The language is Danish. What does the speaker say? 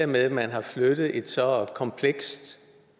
med at man har flyttet et så komplekst